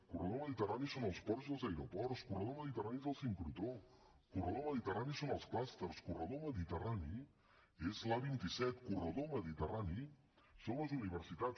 corredor mediterrani són els ports i els aeroports corredor mediterrani és el sincrotró corredor mediterrani són els clústers corredor mediterrani és l’a vint set corredor mediterrani són les universitats